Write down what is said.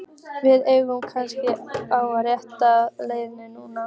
Við erum kannski á réttri leið núna!